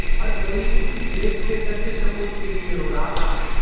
हर कोई उस देश के सच्चे सपूत के लिए रो रहा था